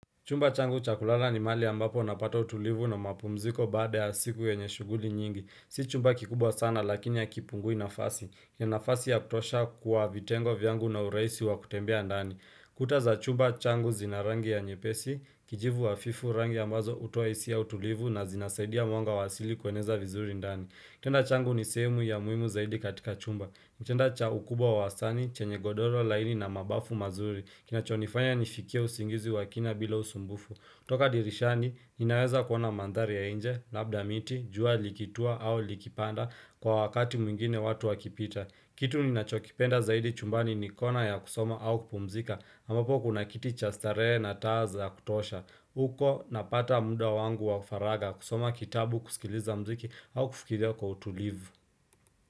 Chumba changu chakula ni mahali ambapo napata utulivu na mapumziko baada ya siku yenye shuguli nyingi. Si chumba kikubwa sana lakini hakipungui nafasi. Nina nafasi ya kutosha kuwa vitengo vyangu na ureisi wa kutembea ndani. Kuta za chumba changu zinarangi ya nyepesi, kijivu hafifu rangi ambazo hutoa hisia ya utulivu na zinasaidia mwanga wasili kueneza vizuri ndani. Kitanda changu ni sehemu ya muhimu zaidi katika chumba. Kitanda cha ukubwa wa wastani, chenye godoro laini na mabafu mazuri. Kinachonifanya nifikia usingizi wakina bila usumbufu toka dirishani, ninaweza kuona mandhari ya inje labda miti, jua likitua au likipanda Kwa wakati mwingine watu wakipita Kitu ninachokipenda zaidi chumbani ni kona ya kusoma au kupumzika ambapo kuna kiti cha starehe na taza ya kutosha uko napata munda wangu wa faraga kusoma kitabu kusikiliza mziki au kufikiria kwa utulivu.